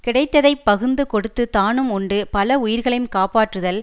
கிடைத்ததை பகுந்து கொடுத்து தானும் உண்டு பல உயிர்களையும் காப்பாற்றுதல்